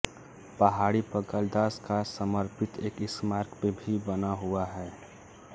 पहाड़ी पर कालिदास का समर्पित एक स्मारक भी बना हुआ है